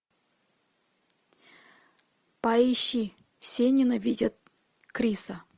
поищи все ненавидят криса